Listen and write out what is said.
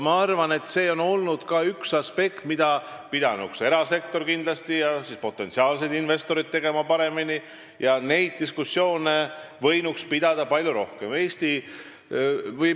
Ma arvan, et see on üks aspekt, mida pidanuks erasektor ja potentsiaalsed investorid tegema paremini, neid diskussioone võinuks olla palju rohkem.